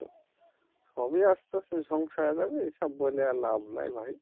সবই আস্তে আস্তে ধ্বংস হয়ে যাবে এসব বলে আর লাভ নেই ভাই